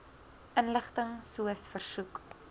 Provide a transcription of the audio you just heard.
inligting soos versoek